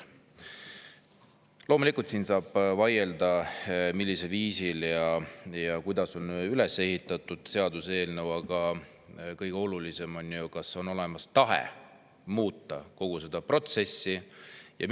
Loomulikult saab selle üle vaielda, millisel viisil ja kuidas see seaduseelnõu on üles ehitatud, aga kõige olulisem on see, kas on olemas tahe kogu seda protsessi muuta.